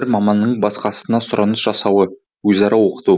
бір маманның басқасына сұраныс жасауы өзара оқыту